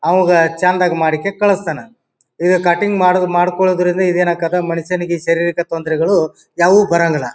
ಅವ್ಗ್ ಚಂದಗ್ ಮಾಡಿಕೆ ಕಲಿಸ್ತಾನ. ಈಗ ಕಟಿಂಗ್ ಮಾಡು ಮಾಡಕೊಳೋದ್ರಿಂದ ಈದ್ ಏನ್ ಆಕಾತ್ ಮನುಷ್ಯನಿಗೆ ಶಾರರೀಕ ತೊಂದರೆಗಳು ಯಾವು ಬರಂಗಿಲ್ಲಾ.